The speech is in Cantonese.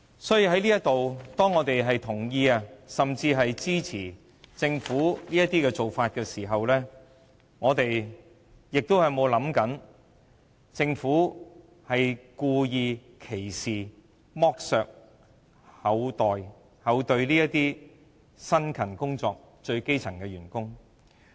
所以，當我們在此同意甚至支持政府追加撥款時，有沒有想過政府歧視、剝削、愧對這些辛勤工作的最基層員工？